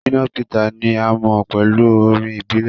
Shina Peters ni a mo pẹlu orin ibile.